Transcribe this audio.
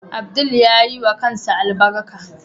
Abdul yayiwa kansa albarka.